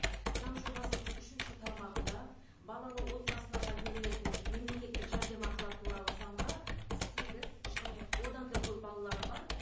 заң жобасының үшінші тармағында балалы отбасыларға берілетін мемлекеттік жәрдемақылар туралы заңға сегіз және одан да көп балалары бар